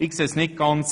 Ich sehe es nicht so: